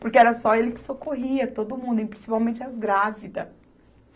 Porque era só ele que socorria todo mundo e principalmente as grávidas.